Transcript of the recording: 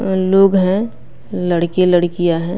लोग हैं लड़के लड़कियाँ हैं।